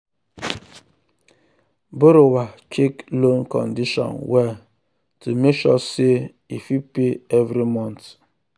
borrower check loan condition well to make sure say um e fit pay every month.